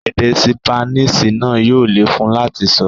Èdè ṣípánísì náà yóò le fún un láti sọ.